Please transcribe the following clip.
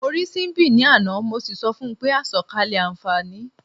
Mo rí Síḿbì ní àná, mo sì sọ fun pé "àsọ̀kalẹ̀ àǹfààní o".